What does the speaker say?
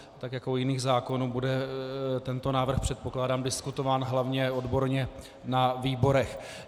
Tak jako u jiných zákonů bude tento návrh, předpokládám, diskutován hlavně odborně na výborech.